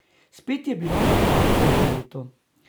Spet je bilo na pragu novo leto.